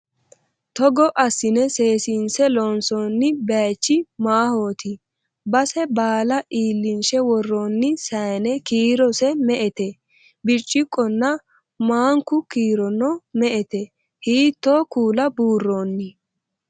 togo assine seesiinse loonsoonni bayeechi maahooti? base baala iillinshe worroonni sayiine kiirose me"ete? birciqqonna maanku kiirono me"ete? hiitto kuula buurroonni?